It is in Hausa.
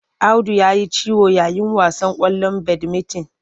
Audu ya ji ciwo yayin wasan ƙwallon badimitin.